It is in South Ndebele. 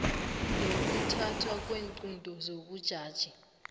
nokuthathwa kweenqunto zobujaji